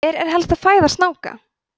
hver er helsta fæða snáka